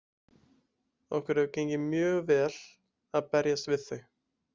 Okkur hefur gengið mjög vel að berjast við þau.